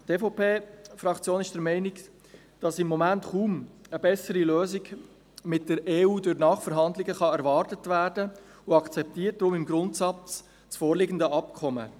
Die EVPFraktion ist der Meinung, dass im Moment kaum eine bessere Lösung durch Nachverhandlungen mit der EU erwartet werden kann, und akzeptiert darum im Grundsatz das vorliegende Abkommen.